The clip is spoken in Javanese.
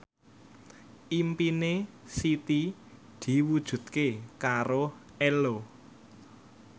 impine Siti diwujudke karo Ello